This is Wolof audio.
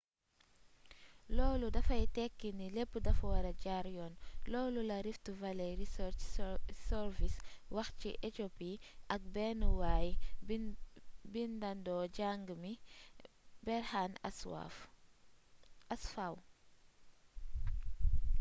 loolu dafay tekki ni lépp dafa wara jaar yoon loolu la rift valley research service wax ci éthiopie ak benn way-bindandoo jàng mi berhane asfaw